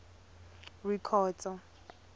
rikhotso